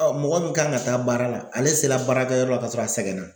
mɔgɔ min kan ka taa baara la ale sera baarakɛyɔrɔ la ka sɔrɔ a sɛgɛn na.